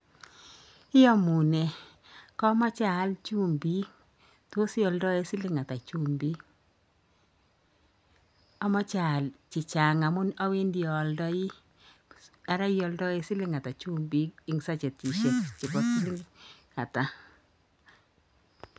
Iyamune, kameje aal chumbik. Tos ialdaee siling ata chumbik? Amachei aal chechang' amun awendi aaldaii. Ara ialdaee siling ata chumbik eng sajetishek chebo siling ata?